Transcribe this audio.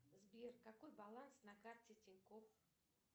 сбер какой баланс на карте тинькофф